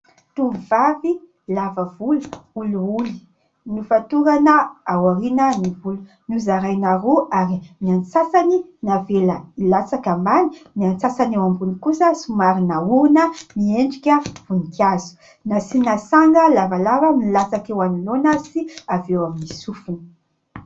Tovovavy lava volo, olioly, nofatorana ao aoriana ny volony, nozaraina roa ; ary ny antsasany navela hilatsaka ambany, ny antsasany eo ambony kosa somary naorina miendrika voninkazo ; nasiana sanga lavalava milatsaka eo anoloana sy avy eo amin'ny sofiny.